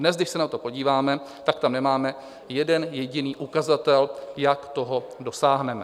Dnes, když se na to podíváme, tak tam nemáme jeden jediný ukazatel, jak toho dosáhneme.